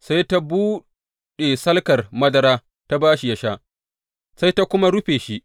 Sai ta buɗe salkar madara, ta ba shi ya sha, sai ta kuma rufe shi.